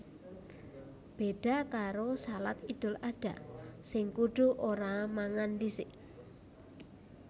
Béda karo shalat Idul Adha sing kudu ora mangan dhisik